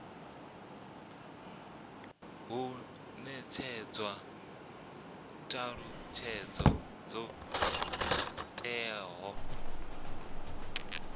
hu netshedzwa thalutshedzo dzo teaho